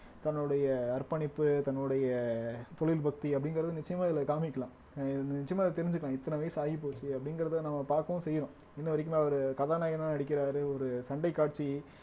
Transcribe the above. தன்னுடைய அர்ப்பணிப்பு தன்னுடைய தொழில் பக்தி அப்படிங்கிறது நிச்சயமா இதுல காமிக்கலாம் அஹ் நிச்சயமா இத தெரிஞ்சுக்கனும் இத்தனை வயசு ஆயிப்போச்சு அப்படிங்கிறத நம்ம பாக்கவும் செய்யறோம் இன்ன வரைக்குமே அவரு கதாநாயகனா நடிக்கிறாரு ஒரு சண்டைக் காட்சி